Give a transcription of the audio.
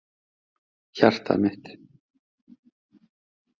Hjartað mitt,